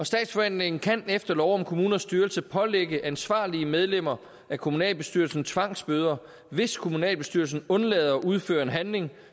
statsforvaltningen kan efter lov om kommunernes styrelse pålægge ansvarlige medlemmer af kommunalbestyrelsen tvangsbøder hvis kommunalbestyrelsen undlader at udføre en handling